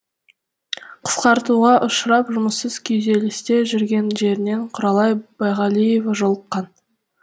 қысқартуға ұшырап жұмыссыз күйзелісте жүрген жерінен құралай байғалиева жолыққан